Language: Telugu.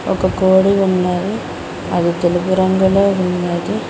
ఒక కోడి ఉన్నది అది తెలుపు రంగులో ఉన్నది